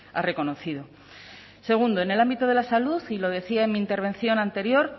ha reconocido segundo en el ámbito de la salud y lo decía en mi intervención anterior